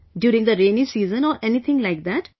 During the rainy season or anything like that...